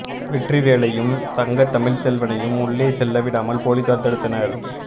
வெற்றிவேலையும் தங்க தமிழ்செல்வனையும் உள்ளே செல்ல விடாமல் போலீசார் தடுத்தனர்